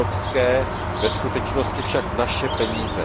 evropské, ve skutečnosti však naše peníze.